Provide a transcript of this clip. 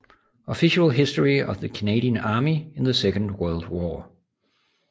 Official History of the Canadian Army in the Second World War